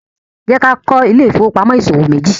jẹ ká kọ Ile-ifowopamọ ìṣòwò meji